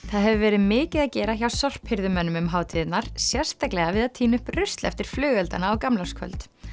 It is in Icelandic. það hefur verið mikið að gera hjá um hátíðirnar sérstaklega við að tína upp rusl eftir flugeldana á gamlárskvöld